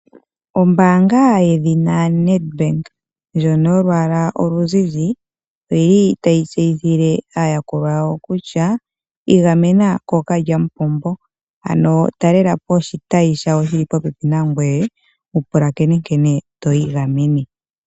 Ombaanga yedhina Nedbank ndyoka yolwaala oluzizi oyi li tayi tseyithile aayakulwa yawo kutya iigamena kookalyampombo ano talela po oshitayi shawo shili popepi na ngoye wu pulakene nkene twiigamene.